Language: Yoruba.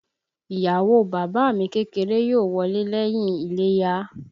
Ìyàwó o bàbá à mi kékeré yóò wọlé lẹ́yìn iléyá